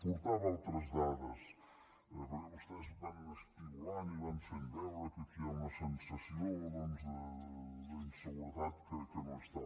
portava altres dades perquè vostès van espigolant i van fent veure que aquí hi ha una sensació d’inseguretat que no és tal